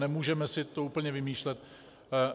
Nemůžeme si to úplně vymýšlet.